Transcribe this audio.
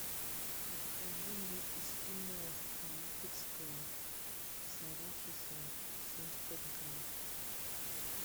закажи мне эскимо липецкое с арахисом семьдесят пять грамм